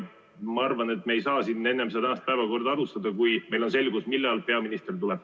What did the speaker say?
Ma arvan, et me ei saa tänast päevakorda alustada enne, kui meil on selgus, millal peaminister tuleb.